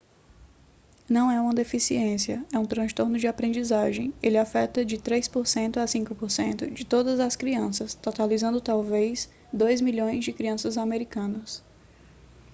não é uma deficiência é um transtorno de aprendizagem ele afeta de 3% a 5% de todas as crianças totalizando talvez 2 milhões de crianças americanas